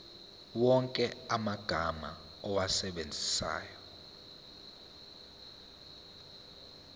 wonke amagama owasebenzisayo